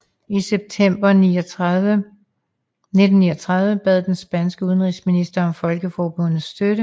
I september 1936 bad den spanske udenrigsminister om Folkeforbundets støtte